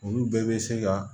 Olu bɛɛ bɛ se ka